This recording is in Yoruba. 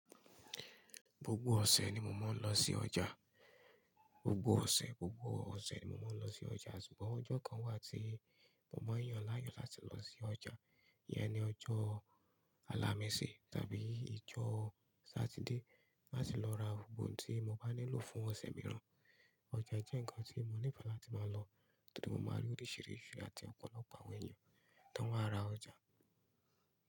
Gbogbo ọ̀sẹ̀ ni mo máa ń lọ sí ọjà. Gbogbo ọ̀sẹ̀, gbogbo ọ̀sẹ̀ ni mo máa ń lọ sí ọjà, ṣùgbọ́n ọjọ́ kan wà tí mo máa ń yàn láàyò láti lọ sí ọjà. Yẹn ni ọjọ́ Alámisi tàbí ìjọ́ Sátidé láti lọ ra gbogbo ohun tí mo bá nílò fún ọ̀sẹ̀ mìíràn. Ọjà jẹ́ nnkan tí mo nífẹ̀ẹ́ láti máa lọ torí mo máa rí oríṣiríṣi àti ọ̀pọ̀lọpọ̀ àwọn èèyàn tó wá ra ọjà.